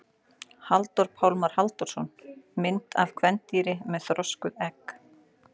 Halldór Pálmar Halldórsson: Mynd af kvendýri með þroskuð egg.